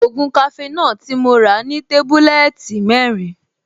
Ògùn cafenor tí mo rà ní tébúlẹ́ẹ̀tì mẹ́rin